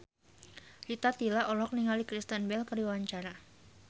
Rita Tila olohok ningali Kristen Bell keur diwawancara